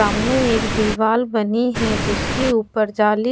सामने एक दीवाल बनी है जिसके ऊपर जाली--